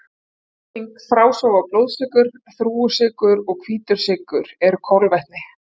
Melting, frásog og blóðsykur Þrúgusykur og hvítur sykur eru kolvetni.